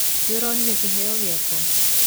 nĩũronire kĩheo gĩakwa.